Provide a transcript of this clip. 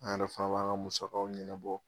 An yɛrɛ fana b'an ka musakaw ɲɛnabɔ